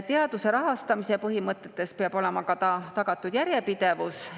Teaduse rahastamise põhimõtetes peab olema tagatud ka järjepidevus.